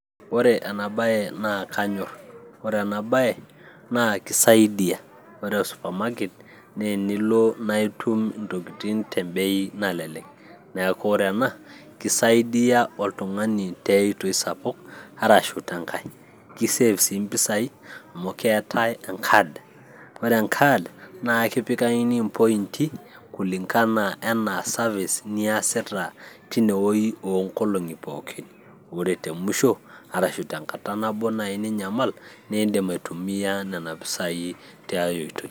Ore ena baye naa kanyorr, ore ena baye naa kisaidia ore o supermarket naa tenilo naa itum intokitin tembei nalelek neeku ore ena kisaidia oltung'ani tiay oitoi sapuk arashu tenkay, ki save sii impisai amu keetay enkad, ore enkad naa akipikakini impointi kulingana anaa service niasita tine wuoi oonkolong'i pookin ore te musho arashu tenkata nabo nai ninyamal niindim aitumiyia nena pisai tiay oitoi.